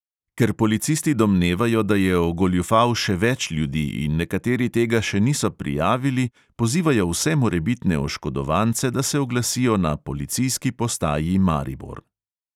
Ker policisti domnevajo, da je ogoljufal še več ljudi in nekateri tega še niso prijavili, pozivajo vse morebitne oškodovance, da se oglasijo na policijski postaji maribor.